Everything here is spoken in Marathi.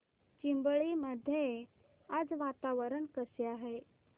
चिंबळी मध्ये आज वातावरण कसे आहे